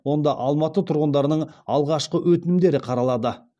онда алматы тұрғындарының алғашқы өтінімдері қаралады